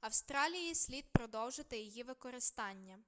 австралії слід продовжити її використання